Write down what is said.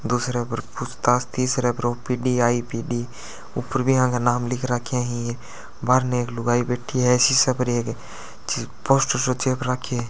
दूसरे पर पूछताछ तीसरे पर ओ_पी_डी ऊपर भी इहा का नाम लिख राखी बाहर नई एक लुगाई बैठी है सीसे पर पोस्टर सो चेप रखियो है।